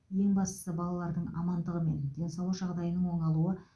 ең бастысы балалардың амандығы мен денсаулық жағдайының оңалуы